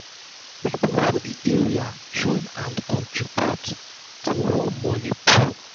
people for the area join hand contribute to one money pool to make pool to make everybody benefit financially.